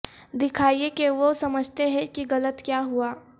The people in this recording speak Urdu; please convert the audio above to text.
دکھائیں کہ وہ سمجھتے ہیں کہ غلط کیا ہوا